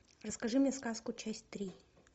расскажи мне сказку часть три